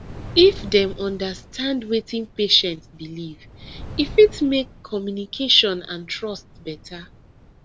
if dem understand wetin patient believe e fit make communication and trust better